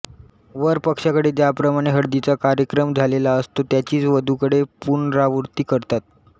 वरपक्षाकडे ज्याप्रमाणे हळदीचा कार्यक्रम झालेला असतो त्याचीच वधूकडे पुनरावृत्ती करतात